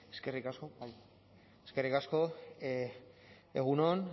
eskerrik asko egun on